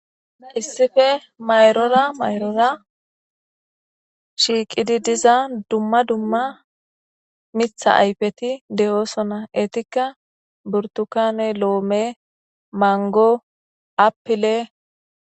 Issife mayrora mayrora shiiqidi diza dumma dumma mitha aypeti de'oosona eetikka burtukane loome mango apile.